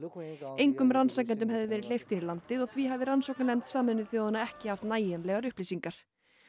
engum rannsakendum hefði verið hleypt inn í landið og því hafi rannsóknarnefnd Sameinuðu þjóðanna ekki haft nægjanlegar upplýsingar